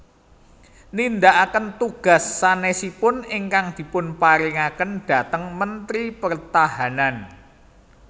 Nindakaken tugas sanésipun ingkang dipunparingaken dhateng Mentri Pertahanan